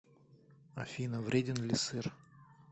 афина вреден ли сыр